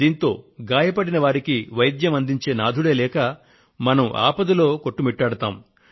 దీంతో గాయపడిన వారికి వైద్యాన్ని అందించే నాథుడే లేక మనం ఆపదలో కొట్టుమిట్టాడుతాము